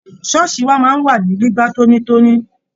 Ṣooṣi wa máa ń wà ní gbígba tóní tóní.